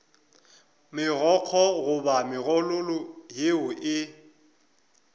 megokgo goba megololo yeo e